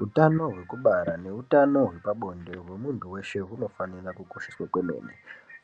Hutano hwekubara ne hutano hwepabonde hwemuntu weshe hunofanira kukosheswa kwemene